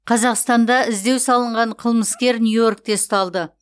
қазақстанда іздеу салынған қылмыскер нью йоркте ұсталды